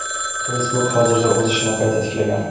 Facebook hozirda o‘z ishini qayta tiklagan.